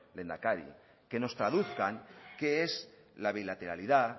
lehendakari que nos traduzcan qué es la bilateralidad